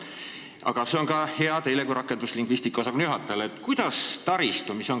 Aga seda saab küsida ka teilt kui rakenduslingvistika osakonna juhatajalt.